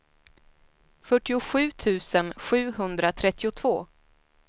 fyrtiosju tusen sjuhundratrettiotvå